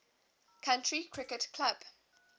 county cricket club